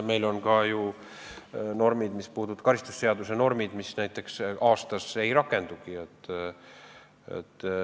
Meil on ka karistusseadustikus norme, mis näiteks aastas kordagi ei rakendu.